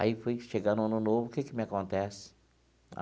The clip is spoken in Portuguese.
Aí foi chegando o Ano Novo, o que que me acontece?